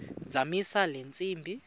zamisa le ntsimbi